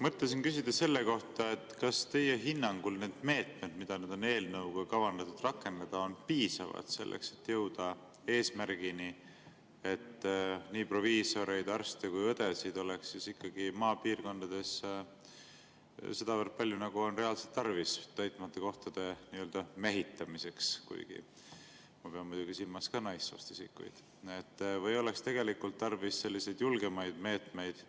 Mõtlesin küsida selle kohta, kas teie hinnangul need meetmed, mida on eelnõuga kavandatud rakendada, on piisavad, selleks et jõuda eesmärgini, et nii proviisoreid, arste kui ka õdesid oleks maapiirkondades sedavõrd palju, nagu on reaalselt tarvis täitmata kohtade mehitamiseks – kuigi ma pean muidugi silmas ka naissoost isikuid –, või oleks tarvis julgemaid meetmeid